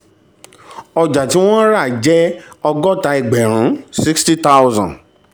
ọjà tí wọ́n rà jẹ́ ọgọ́ta ẹgbẹ̀rún sixty thousand